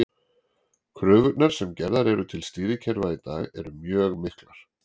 Kröfurnar sem gerðar eru til stýrikerfa í dag eru mjög miklar.